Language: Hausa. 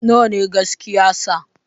Nawa ne gaskiya sa